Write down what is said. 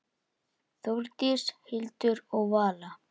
Þórdís, Hildur og Vala.